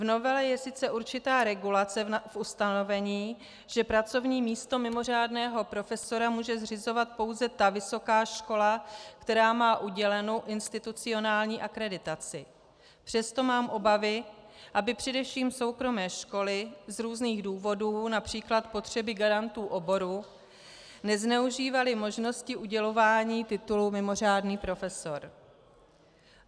V novele je sice určitá regulace v ustanovení, že pracovní místo mimořádného profesora může zřizovat pouze ta vysoká škola, která má udělenou institucionální akreditaci, přesto mám obavy, aby především soukromé školy z různých důvodů, například potřeby garantů oboru, nezneužívaly možnosti udělování titulu mimořádný profesor.